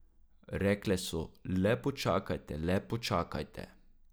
Rekle so, le počakajte, le počakajte.